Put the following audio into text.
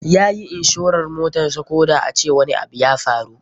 Yayi inshoran motarsa koda a ce wani abu ya faru.